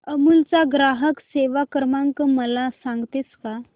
अमूल चा ग्राहक सेवा क्रमांक मला सांगतेस का